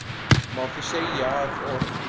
Má því segja að orð